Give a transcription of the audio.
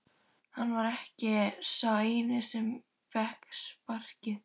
Hann var ekki sá eini sem fékk sparkið.